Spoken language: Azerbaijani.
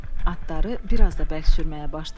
Atları biraz da bərk sürməyə başladı.